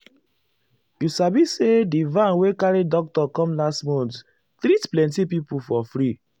you sabi say di van wey carry doctor come last month treat plenty people for free.